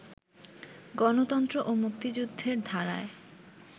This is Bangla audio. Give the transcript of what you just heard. গণতন্ত্র ও মুক্তিযুদ্ধের ধারায়